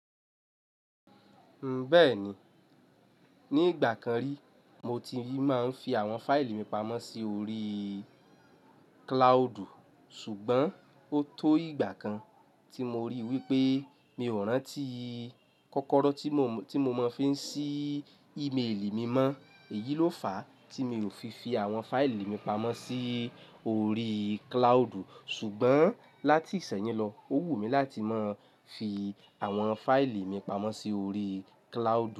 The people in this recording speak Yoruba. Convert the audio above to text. Bẹ́ẹ̀ni, ní ìgbà kan rí mo ti máa ń fi àwọn fáìlì mi pamọ́ sí orí cloud. Ṣùgbọ́n ó tó ìgbà kan tí mo rí wípé mi ò rántí kọ́kọ́rọ́ tí mo fi ń sí ímélì mi mọ́, èyí ló fàá tí mi ò fi fi àwọn fáìlì mi pamọ́ sí orí cloud. Ṣùgbọ́n láti ìsẹ́yìn lọ, ó wù mí láti máa ń fi àwọn fáìlì mi pamọ́ sí orí cloud.